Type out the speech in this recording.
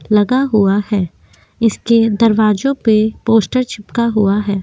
लगा हुआ है इसके दरवाजों पे पोस्टर चिपका हुआ है।